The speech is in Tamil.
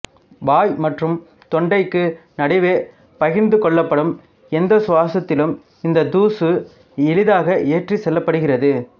வாய் மற்றும் தொண்டைக்கு நடுவே பகிர்ந்து கொள்ளப்படும் எந்த சுவாசத்திலும் இந்த தூசு எளிதாக ஏற்றிச் செல்லப்படுகிறது